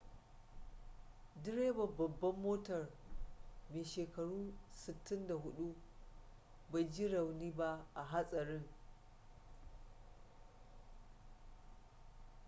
direban babbar motar mai shekaru 64 bai ji rauni ba a hatsarin